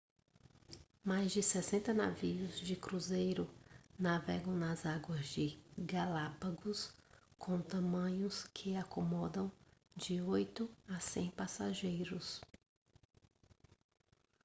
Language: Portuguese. mais de 60 navios de cruzeiro navegam nas águas de galápagos com tamanhos que acomodam de 8 a 100 passageiros